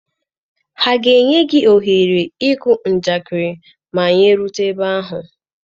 Ha ga-enye ohere ịkụ njakịrị ma anyị erute ebe ahụ?